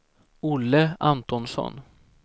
Olle Antonsson